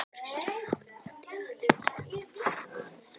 Kristján Már: Ætti ég að leggja í þetta sterka?